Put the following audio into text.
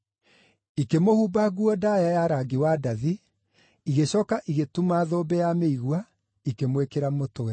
Ikĩmũhumba nguo ndaaya ya rangi wa ndathi, igĩcooka igĩtuma thũmbĩ ya mĩigua, ikĩmwĩkĩra mũtwe.